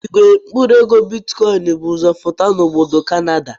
Igwe mkpụrụ ego bitikọin bụ ụzọ pụta na obodo Kanada.